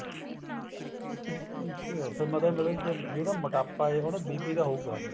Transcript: ਅੱਛਿਆ ਮਤਲਬ ਮਤਲਬ ਕੇ ਜਿਹੜਾ ਮੋਟਾਪਾ ਹੈ ਉਹਦਾ BP ਤਾਂ ਹੋਏਗਾ